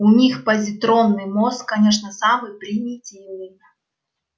у них позитронный мозг конечно самый примитивный